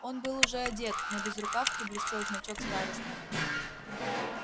он был уже одет на безрукавке блестел значок старосты